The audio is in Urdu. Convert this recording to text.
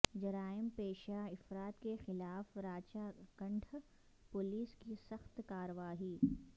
جرائم پیشہ افراد کے خلاف راچہ کنڈہ پولیس کی سخت کارروائی